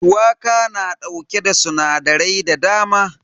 Shuwaka na dauke da sinadarai da dama.